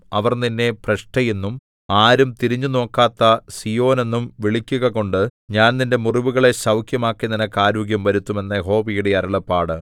അവർ നിന്നെ ഭ്രഷ്ടയെന്നും ആരും തിരിഞ്ഞു നോക്കാത്ത സീയോനെന്നും വിളിക്കുകകൊണ്ട് ഞാൻ നിന്റെ മുറിവുകളെ സൗഖ്യമാക്കി നിനക്ക് ആരോഗ്യം വരുത്തും എന്ന് യഹോവയുടെ അരുളപ്പാട്